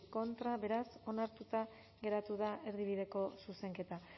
contra beraz onartuta gelditu da erdibideko zuzenketa